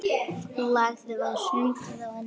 Lagið var sungið á ensku.